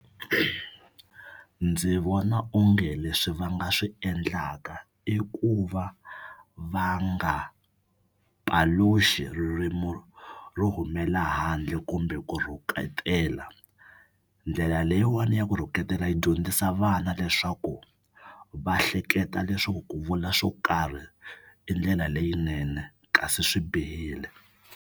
Ndzi vona onge leswi va nga swi endlaka i ku va va nga paluxi ririmu ro humela handle kumbe ku ri rhuketela. Ndlela leyiwani ya ku rhuketela yi dyondzisa vana leswaku va hleketa leswaku ku vula swo karhi i ndlela leyinene kasi swi bihile.